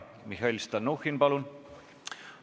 Mihhail Stalnuhhin, palun!